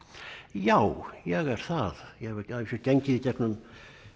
já ég er það ég hef að vísu gengið í gegnum